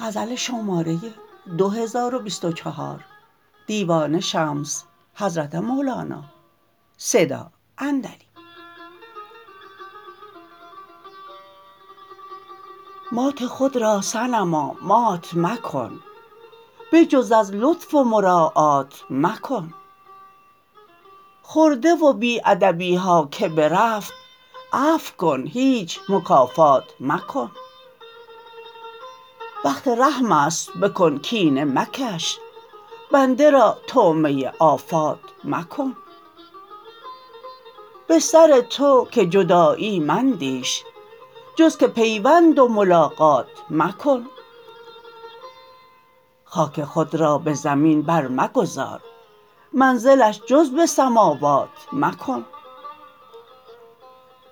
مات خود را صنما مات مکن بجز از لطف و مراعات مکن خرده و بی ادبی ها که برفت عفو کن هیچ مکافات مکن وقت رحم است بکن کینه مکش بنده را طعمه آفات مکن به سر تو که جدایی مندیش جز که پیوند و ملاقات مکن خاک خود را به زمین برمگذار منزلش جز به سماوات مکن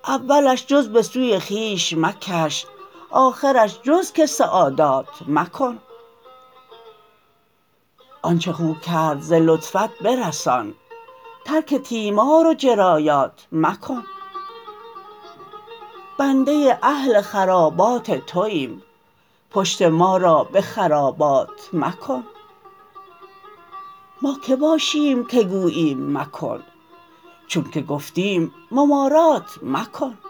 اولش جز به سوی خویش مکش آخرش جز که سعادات مکن آنچ خو کرد ز لطفت برسان ترک تیمار و جرایات مکن بنده اهل خرابات توایم پشت ما را به خرابات مکن ما که باشیم که گوییم مکن چونک گفتیم ممارات مکن